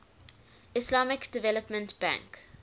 islamic development bank